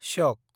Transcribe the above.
श्यक